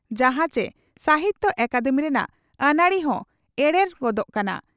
ᱡᱟᱦᱟᱸ ᱪᱮ ᱥᱟᱦᱤᱛᱭᱚ ᱟᱠᱟᱫᱮᱢᱤ ᱨᱮᱱᱟᱜ ᱟᱹᱱᱟᱹᱨᱤ ᱦᱚᱸ ᱮᱨᱮᱲ ᱜᱚᱫᱚᱜ ᱠᱟᱱᱟ ᱾